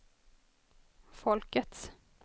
folkets